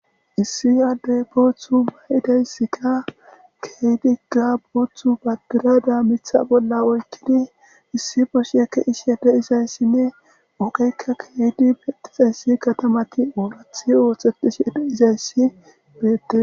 Issi adde boththa mayidi qassika keehidi gabeto mitha bolla oyiqqidi issi bashiya besishenne ogeka keehidinne issi katamati oratiyoga osetishe diza isai beettes.